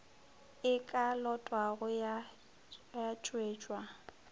e ka lotwago ya tšwetšwa